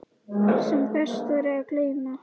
Sem best væri að gleyma.